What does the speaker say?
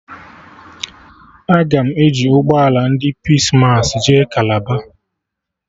Aga m eji ụgbọ ala ndị Pis massị jee Kalaba